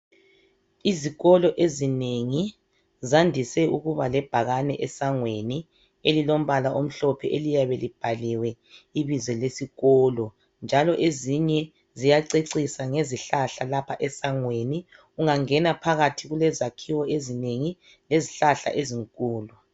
Izikolo ezinengi zandise ukuba lebhakane esangweni elilombala omhlophe eliyabe libhaliwe ibizo lesikolo. Njalo ezinye ziyacecisa ngezihlahla lapha esangweni. Ungangena phakathi kulezakhiwo ezinengi lezihlahla ezinkulu.